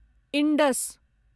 Indus